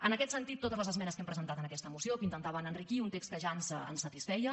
en aquest sentit totes les esmenes que hem presentat en aquesta moció que intentaven enriquir un text que ja ens satisfeia